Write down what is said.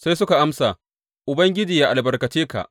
Sai suka amsa, Ubangiji yă albarkace ka!